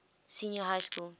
senior high school